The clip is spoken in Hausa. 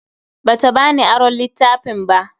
Bata bani aron littafin ba.